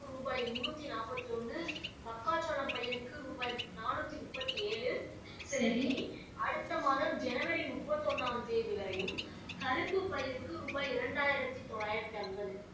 ரூபாய் முன்னுத்தி நாற்பத்தி ஒன்னு மக்காசோளம் பயிருக்கு ரூபாய் நானுத்தி முப்பத்து ஏழு அடுத்த மாதம் ஜனவரி முப்பத்து ஒன்னாம் தேதி வரையும் கரும்பு பயிருக்கு ரூபாய் இரண்டாயிரத்து தொள்ளாயிறத்து ஐம்பது